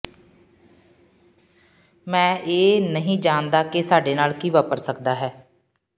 ਮੈਂ ਇਹ ਨਹੀਂ ਜਾਣਦਾ ਕਿ ਸਾਡੇ ਨਾਲ ਕੀ ਵਾਪਰ ਸਕਦਾ ਹੈ